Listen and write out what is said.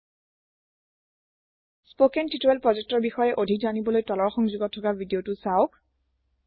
spoken tutorial project ৰ বিষয়ে অধিক জনিবলৈ তলৰ সংযোগত থকা ভিদিয়তো চাওক